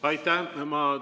Aitäh!